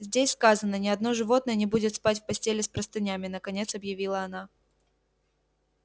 здесь сказано ни одно животное не будет спать в постели с простынями наконец объявила она